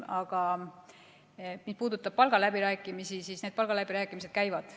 Aga mis puudutab palgaläbirääkimisi, siis võin öelda, et need käivad.